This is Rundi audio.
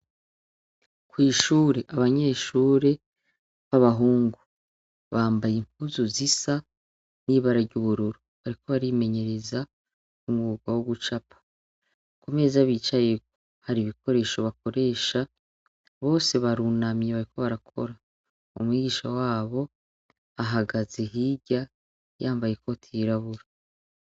Kw'ishure, abanyeshure ba bahungu bambaye impuzu zisa n'ibara ry'ubururu bariko barimenyereza umwuga wo gucapa. Ku meza bicayeko, hari ibikoresho bakoresha; bose barunamye bariko barakora. Umwigisha wabo ahagaze hirya yambaye ikoti y'irabura.